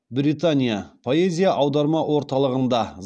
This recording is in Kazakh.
британия поэзия аударма орталығында